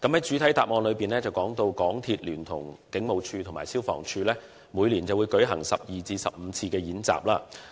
主體答覆提到，港鐵聯同警務處和消防處每年會舉行12至15次演習。